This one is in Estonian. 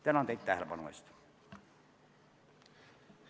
Tänan teid tähelepanu eest!